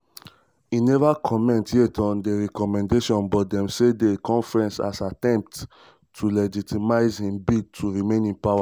e neva comment um yet on di recommendation but dem see di conference as attempt to legitimise im bid to um remain in power.